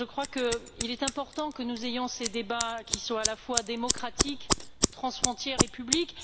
Je crois qu'il est important que nous ayons ces débats, qui sont à la fois démocratiques, transfrontières et publics.